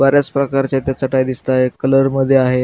बऱ्याच प्रकारच्या इथं चटाया दिसतायत कलर मध्ये आहे.